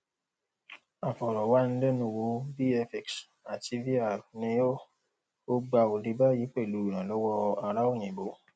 aforo wanilenuwo vfx àti vr ni ó ó gbà òde bayi pelu iranlowo ara oyinbo